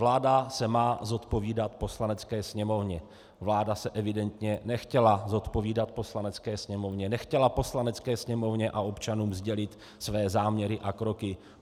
Vláda se má zodpovídat Poslanecké sněmovně, vláda se evidentně nechtěla zodpovídat Poslanecké sněmovně, nechtěla Poslanecké sněmovně a občanům sdělit své záměry a kroky.